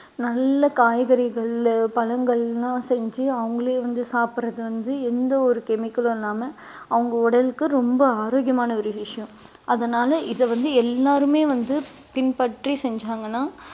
நல்ல காய்கறிகள் பழங்கள்லாம் செஞ்சு அவங்களே வந்து சாப்பிடுறது வந்து எந்த ஒரு chemical உம் இல்லாம அவங்க உடலுக்கு ரொம்ப ஆரோக்கியமான ஒரு விஷயம் அதனால இதை வந்து எல்லாருமே வந்து பின்பற்றி செஞ்சாங்கன்னா